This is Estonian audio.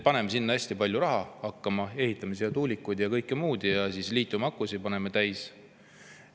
Paneme seal hästi palju raha hakkama, ehitame tuulikuid ja kõike muud ning paneme need liitiumakusid täis.